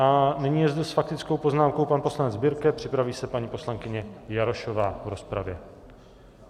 A nyní je zde s faktickou poznámkou pan poslanec Birke, připraví se paní poslankyně Jarošová v rozpravě.